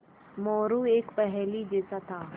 मोरू एक पहेली जैसा था